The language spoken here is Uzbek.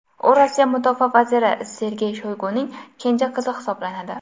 U Rossiya mudofaa vaziri Sergey Shoyguning kenja qizi hisoblanadi.